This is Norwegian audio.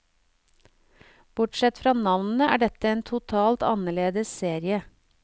Bortsett fra navnet, er dette en totalt annerledes serie.